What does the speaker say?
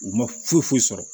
U ma foyi foyi sɔrɔ